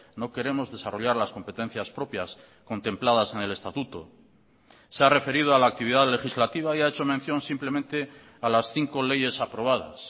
no queremos desarrollar las competencias propias contempladas en el estatuto se ha referido a la actividad legislativa y ha hecho mención simplemente a las cinco leyes aprobadas